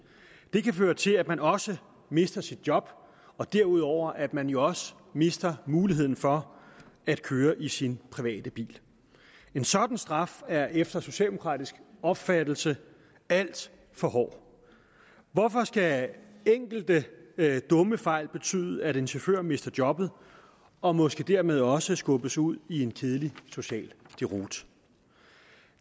det kan føre til at man også mister sit job og derudover at man jo også mister muligheden for at køre i sin private bil en sådan straf er efter socialdemokratisk opfattelse alt for hård hvorfor skal enkelte dumme fejl betyde at en chauffør mister jobbet og måske dermed også skubbes ud i en kedelig social deroute